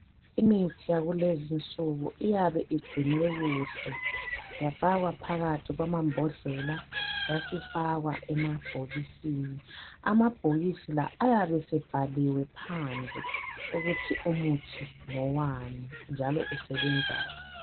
Imithi yakulezi nsuku iyabe igcinwe kuhle yafakwa phakathi kwamambodlela yasifakwa emabhokisini. Amabhokisi la ayabese bhaliwe phandle ukuthi umuthi ngowani njalo usebenzani.